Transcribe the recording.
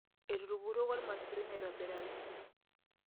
Etukuroko ilmaisurin aitobiraki.